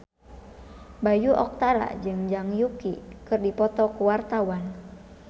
Bayu Octara jeung Zhang Yuqi keur dipoto ku wartawan